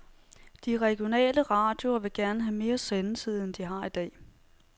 De regionale radioer vil gerne have mere sendetid, end de har i dag.